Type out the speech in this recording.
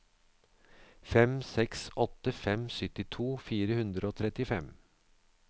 fem seks åtte fem syttito fire hundre og trettifem